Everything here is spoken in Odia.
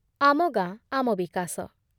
ଆମ ଗାଁ ଆମ ବିକାଶ